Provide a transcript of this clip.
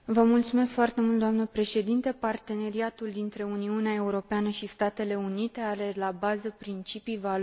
Parteneriatul dintre Uniunea Europeană și Statele Unite are la bază principii, valori și interese comune.